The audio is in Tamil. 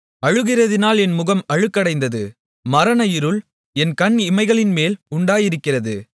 அழுகிறதினால் என் முகம் அழுக்கடைந்தது மரண இருள் என் கண் இமைகளின்மேல் உண்டாயிருக்கிறது